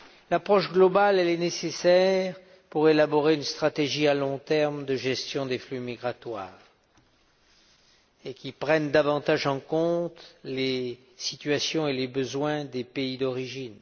L'approche globale est nécessaire pour élaborer une stratégie à long terme de gestion des flux migratoires qui prenne davantage en compte les situations et les besoins des pays d'origine.